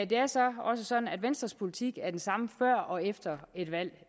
det er så også sådan at venstres politik er den samme før og efter et valg